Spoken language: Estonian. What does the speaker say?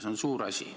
See on suur asi.